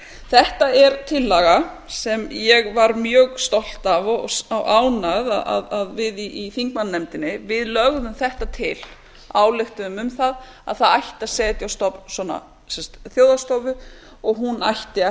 þetta er tillaga sem ég var mjög stolt af og ánægð að við í þingmannanefndinni lögðum þetta til ályktuðum um það að það ætti að setja á stofn svona þ þjóðhagsstofa og hún ætti að